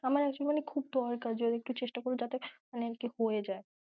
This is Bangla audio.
আমার আসলে খুব দরকার মানে চেষ্টা করো যাতে হয় যায়।